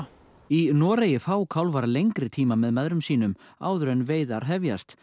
í Noregi fá kálfar lengri tíma með mæðrum sínum áður en veiðar hefjast